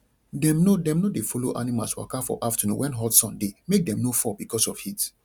dem no dem no dey follow animals waka for afternoon when hot sun dey make dem no fall because of heat